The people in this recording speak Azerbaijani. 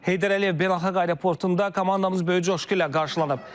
Heydər Əliyev beynəlxalq aeroportunda komandamız böyük coşğu ilə qarşılanıb.